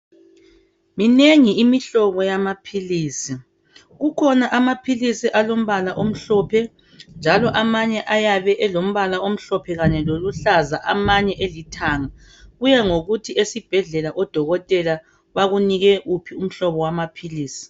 Minengi imihlobo yamaphilisi. Kukhona amaphilisi alombala omhlophe, njalo amanye ayabe elombala omhlophe, kanye loluhlaza, amanye elithanga. Kuya ngokuthi esibhedlela amadokotela, akuphe wuphi umhlobo wamaphilisi.